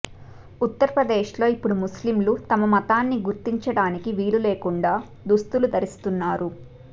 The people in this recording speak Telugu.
ఉత్తరప్రదేశ్ లో ఇప్పుడు ముస్లింలు తమ మతాన్ని గుర్తించడానికి వీలు లేకుండా దుస్తులు ధరిస్తున్నారు